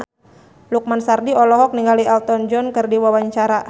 Lukman Sardi olohok ningali Elton John keur diwawancara